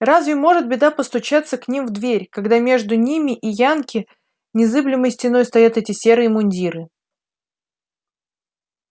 разве может беда постучаться к ним в дверь когда между ними и янки незыблемой стеной стоят эти серые мундиры